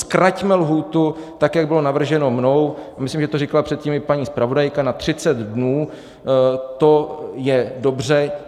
Zkraťme lhůtu tak, jak bylo navrženo mnou, myslím, že to říkala předtím i paní zpravodajka, na 30 dnů, to je dobře.